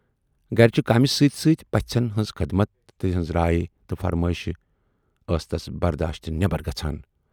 گرچہِ کامہِ سۭتۍ سۭتۍ پَژھن ہٕنز خدمت تہٕ تِہٕنز راے تہٕ فرمٲیشہِ ٲس تَس برداشہٕ نٮ۪بر گژھان۔